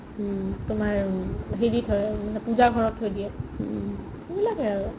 তোমাৰ হেৰিত হয় পুজা ঘৰত থই দিয়ে সেই বিলাকে আৰু